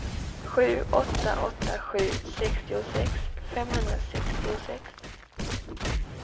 sju åtta åtta sju sextiosex femhundrasextiosex